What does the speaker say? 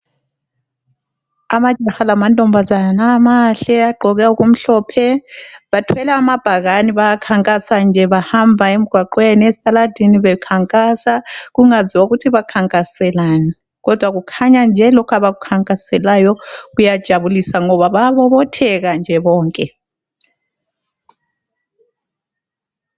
Amajaha lamantombazana mahle agqoke okumhlophe bathwele amabhakani bayakhankasa nje bahamba emgwaqweni esitaladini bekhankasa kungaziwa kuthi bakhankaselani kodwa kukhanya nje lokhu abakukhankaselayo kuyajabulisa ngoba bayabobotheka nje bonke.